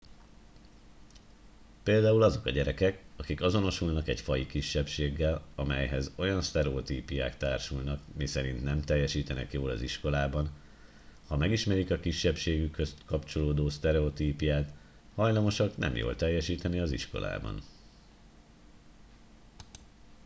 például azok a gyerekek akik azonosulnak egy faji kisebbséggel amelyhez olyan sztereotípiák társulnak miszerint nem teljesítenek jól az iskolában ha megismerik a kisebbségükhöz kapcsolódó sztereotípiát hajlamosak nem jól teljesíteni az iskolában